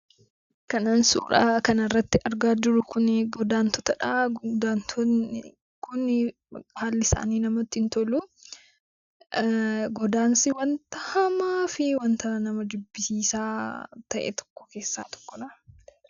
Kanan suuraa kanarratti argaa jiru kunii godantota dha. Godaantonni kunii haalli isaanii namatti hin tolu. Godaansi wanta hamaa fi wanta nama jibbisiisaa ta'e tokko keessaa tokko dha.